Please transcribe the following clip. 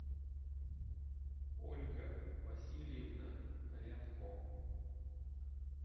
ольга васильевна рябко